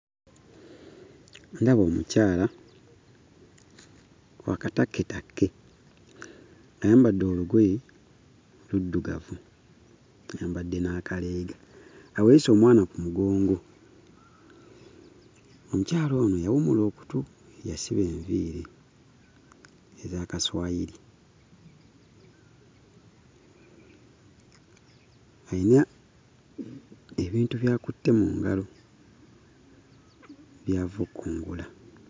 Ndaba omukyala wa katakketakke. Ayambadde olugoye luddugavu, ayambadde n'akaleega. Aweese omwana ku mugongo. Omukyala ono yawummula okutu, yasiba enviiri ez'akaswayiri. Ayina ebintu by'akutte mu ngalo by'ava okkungula.